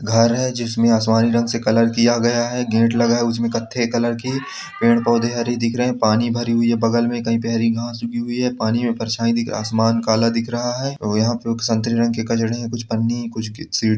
घर है जिसमें आसमानी रंग से कलर किया गया है गेट लगा हुआ है उसमें कत्थे कलर की पेड़ पोधे हरे दिख रहे है पानी भारी हूई है बगल में कहीं पे हरी घास उगी हुई है पानी में परछाई दिख आसमान काला दिख रहा है और यहाँ पर संतरे रंग के कचरे है कुछ पन्ने हैं कुछ गी सीढ़ी --